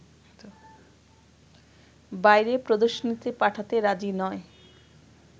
বাইরে প্রদর্শনীতে পাঠাতে রাজি নয়